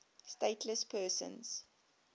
stateless persons